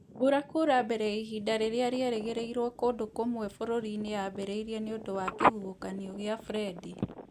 Mbura kura mbere ya ihinda rĩrĩa rĩerĩgĩrĩirũo kũndũ kũmwe bũrũri-inĩ yambĩrĩirie nĩ ũndũ wa kĩhuhũkanio kĩa Freddie